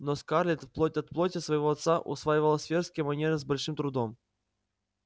но скарлетт плоть от плоти своего отца усваивала светские манеры с большим трудом